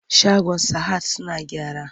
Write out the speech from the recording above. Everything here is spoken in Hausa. Shagon sahad suna gyara.